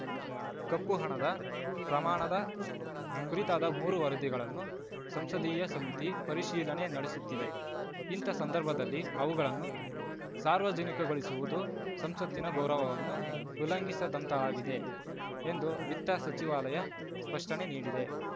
ಕಪ್ಪು ಹಣದ ಪ್ರಮಾಣದ ಕುರಿತಾದ ಮೂರು ವರದಿಗಳನ್ನು ಸಂಸದೀಯ ಸಮಿತಿ ಪರಿಶೀಲನೆ ನಡೆಸುತ್ತಿದೆ ಇಂಥ ಸಂದರ್ಭದಲ್ಲಿ ಅವುಗಳನ್ನು ಸಾರ್ವಜನಿಕಗೊಳಿಸುವುದು ಸಂಸತ್ತಿನ ಗೌರವವನ್ನು ಉಲ್ಲಂಘಿಸಿದಂತಾಗಲಿದೆ ಎಂದು ವಿತ್ತ ಸಚಿವಾಲಯ ಸ್ಪಷ್ಟನೆ ನೀಡಿದೆ